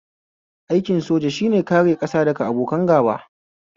Aikin soja shine kare ƙasa daga abokan gaba